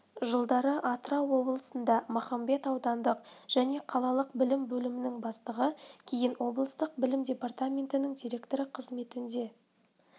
жылдары атырау облысында махамбет аудандық және қалалық білім бөлімінің бастығы кейін облыстық білім департаментінің директоры қызметінде